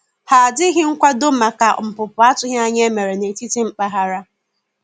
Ha dịghị nkwado maka npụpụ atụghi anya e mere na etiti mpaghara.